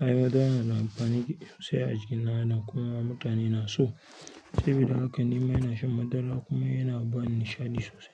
Ai madara na da amfani sosai a jikin ɗan adam kuma mutane na so. Saboda haka ni ma ina shan madara kuma yana bani nishaɗi sosai.